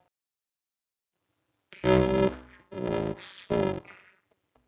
Bjór og sól?